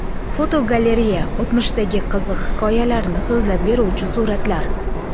Fotogalereya: O‘tmishdagi qiziq hikoyalarni so‘zlab beruvchi suratlar.